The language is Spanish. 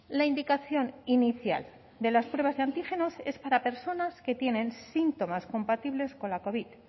la indicación inicial de las pruebas de antígenos es para personas que tienen síntomas compatibles con la covid